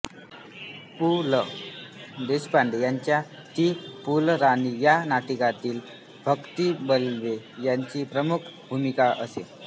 पु ल देशपांडे यांच्या ती फुलराणी या नाटकातील भक्ती बर्वे यांची प्रमुख भूमिका असे